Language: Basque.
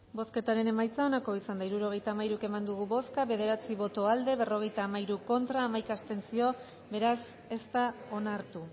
bozketaren emaitza onako izan da hirurogeita hamairu eman dugu bozka bederatzi boto aldekoa berrogeita hamairu contra hamaika abstentzio beraz ez da onartu